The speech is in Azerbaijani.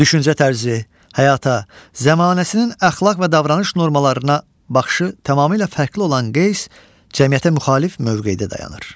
Düşüncə tərzi, həyata, zəmanəsinin əxlaq və davranış normalarına baxışı tamamilə fərqli olan Qeys cəmiyyətə müxalif mövqedə dayanır.